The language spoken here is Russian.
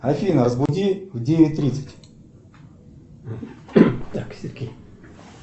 афина разбуди в девять тридцать